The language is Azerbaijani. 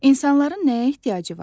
İnsanların nəyə ehtiyacı var?